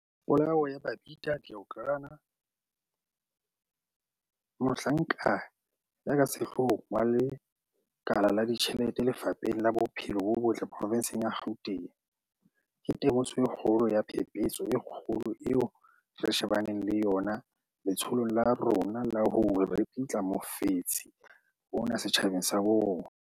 Polao ya Babita Deokaran, mohlanka ya ka sehloohong wa lekala la ditjhelete Lefapheng la Bophelo bo Botle provenseng ya Gauteng, ke temoso e kgolo ya phephetso e kgolo eo re shebaneng le yona letsholong la rona la ho ripitla mofetshe ona setjhabeng sa bo rona.